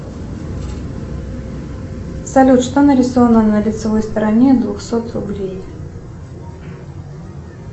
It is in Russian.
салют что нарисовано на лицевой стороне двухсот рублей